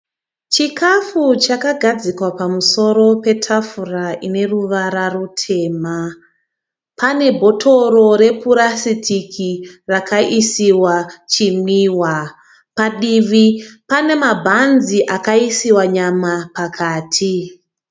Chikafu chakagadzikwa pamusoro petafura ine ruvara rutema, pane bhotoro repurasitiki rakaisiwa chimwiwa. Padivi pane mabhanzi akaisiwa nyama pakati.